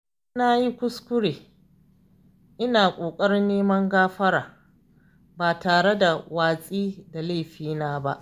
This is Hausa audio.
Idan na yi kuskure, ina ƙoƙarin neman gafara ba tare da watsi da laifina ba.